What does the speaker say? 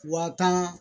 Wa tan